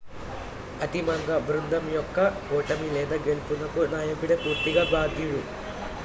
అంతిమంగా బృందం యొక్క ఓటమి లేదా గెలుపునకు నాయకుడే పూర్తిగా బాధ్యుడు